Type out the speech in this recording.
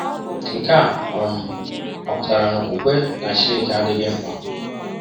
Nke a um ọ̀ pụtara na okwukwe na Chineke adịghị mkpa?